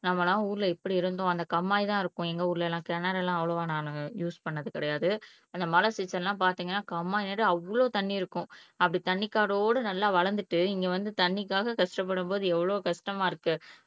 நம்மலாம் ஊர்ல எப்படி இருந்தோம் கம்மாய் தான் இருக்கும் எங்க ஊர்ல எல்லாம் கிணறு எல்லாம் நான் அவ்வளவா யூஸ் பண்ணினது கிடையாது அந்த மழை சீசன் எல்லாம் பார்த்தீங்கன்னா கம்மாய் நிறைய அவ்வளவு தண்ணி இருக்கும் அப்படி தண்ணி காடோட நல்ல வளர்ந்துட்டு இங்க வந்து தண்ணிக்காக கஷ்டப்படும் போது எவ்வளவு கஷ்டமா இருக்கு